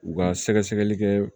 U ka sɛgɛsɛgɛli kɛ